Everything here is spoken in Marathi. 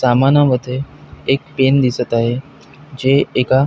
समानामध्ये एक पेन दिसत आहे जे एका--